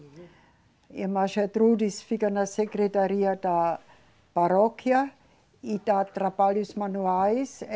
E a irmã Gertrudes fica na Secretaria da Paróquia e dá trabalhos manuais. Eh